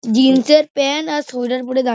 jeans -এর pant আর sweater পড়ে দাঁ--